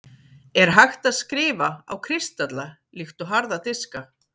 er hægt að „skrifa“ á kristalla líkt og harða diska